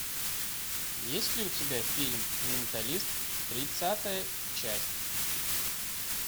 есть ли у тебя фильм менталист тридцатая часть